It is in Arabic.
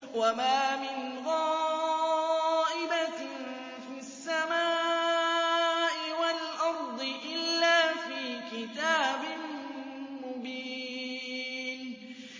وَمَا مِنْ غَائِبَةٍ فِي السَّمَاءِ وَالْأَرْضِ إِلَّا فِي كِتَابٍ مُّبِينٍ